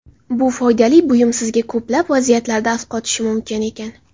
Bu foydali buyum sizga ko‘plab vaziyatlarda asqotishi mumkin ekan.